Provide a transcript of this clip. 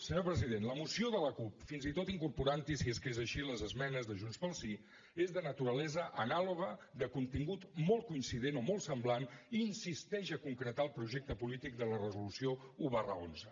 senyor president la moció de la cup fins i tot incorporant hi si és que és així les esmenes de junts pel sí és de naturalesa anàloga de contingut molt coincident o molt semblant i insisteix a concretar el projecte polític de la resolució un xi